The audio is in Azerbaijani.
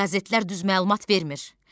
Qəzetlər düz məlumat vermir.